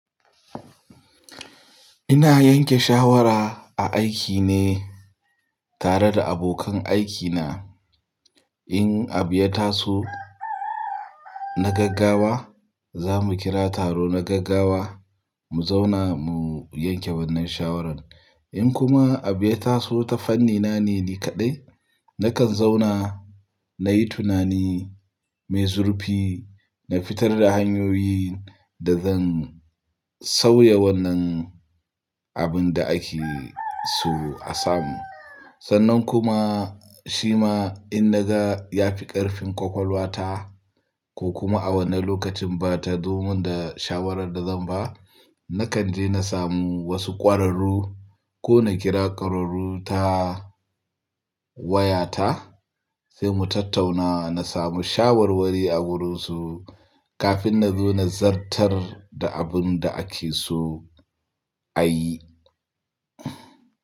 Ina yanke shawara a aiki ne tare da abokan aikina. Idan abu ya taso na gaggawa, za mu kira taro na gaggawa, mu zauna mu yanke shawarar. Idan kuma abu ya taso ta fanni na ne ni kaɗai, nakan zauna na yi tunani mai zurfi, na fitar da hanyoyin da zan sauya wannan abin da ake so a samu. Sannan kuma shi ma in na ga ya fi ƙarfin ƙwaƙwalwa ta idan abu ya taso na gaggawa, za mu kira taro na gaggawa, mu zauna mu yanke wannan shawarar. Kafin na zo na zartar da abin da ake so a yi.